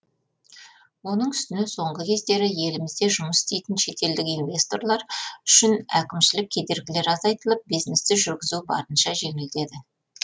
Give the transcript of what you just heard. оның үстіне соңғы кездері елімізде жұмыс істейтін шетелдік инвесторлар үшін әкімшілік кедергілері азайтылып бизнесті жүргізу барынша жеңілдеді